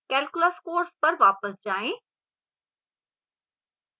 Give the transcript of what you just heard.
calculus course पर वापस जाएँ